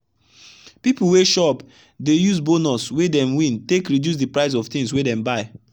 people wey shop dey use bonus wey dem wintake reduce the price of things wey dem buy.